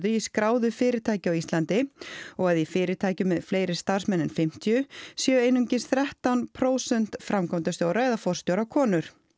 í skráðu fyrirtæki á Íslandi og að í fyrirtækjum með fleiri starfsmenn en fimmtíu séu einungis þrettán prósent framkvæmdastjóra eða forstjóra konur